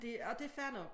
Det og det fair nok